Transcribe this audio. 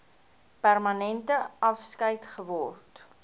permanente afskeid geword